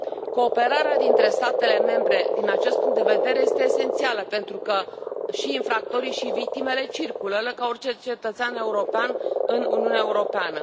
Cooperarea dintre statele membre, din acest punct de vedere, este esențială, pentru că și infractori și victimele circulă ca orice cetățean european în Uniunea Europeană.